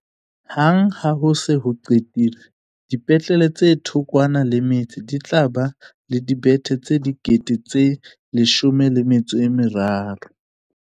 Hang ha ho se ho qetilwe, dipetlele tse thokwana le metse di tla ba le dibethe tse13 000.